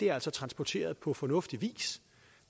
er transporteret på fornuftig vis